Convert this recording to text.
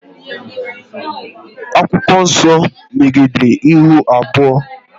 Akwụkwọ nso megidere ihu abụọ